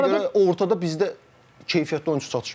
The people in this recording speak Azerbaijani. Ona görə ortada bizdə keyfiyyətli oyunçu çatışmır.